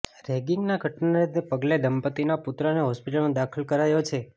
રેગિંગની ઘટનાને પગલે દંપતીના પુત્રને હોસ્પિટલમાં દાખલ કરાયો છે